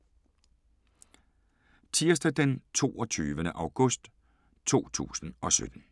Tirsdag d. 22. august 2017